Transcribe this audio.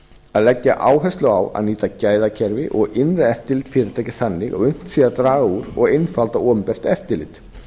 að leggja áherslu á að nýta gæðakerfi og innra eftirlit fyrirtækis þannig að unnt sé að draga úr og einfalda opinbert eftirlit